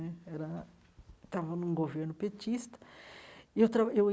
Né era estava num governo petista e eu tra eu